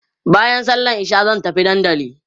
baƴan sallan isha zan tafi Dandanli